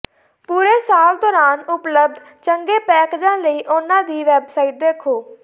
ਪੂਰੇ ਸਾਲ ਦੌਰਾਨ ਉਪਲਬਧ ਚੰਗੇ ਪੈਕੇਜਾਂ ਲਈ ਉਨ੍ਹਾਂ ਦੀ ਵੈਬਸਾਈਟ ਦੇਖੋ